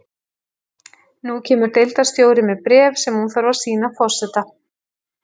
Nú kemur deildarstjóri með bréf sem hún þarf að sýna forseta.